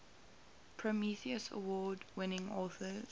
prometheus award winning authors